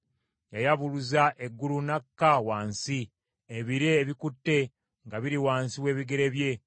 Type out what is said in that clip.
Yayabuluza eggulu n’akka wansi; ebire ebikutte nga biri wansi w’ebigere bye.